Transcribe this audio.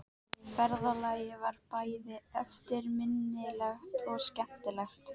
Ferðalagið var bæði eftirminnilegt og skemmtilegt.